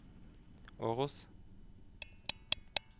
Åros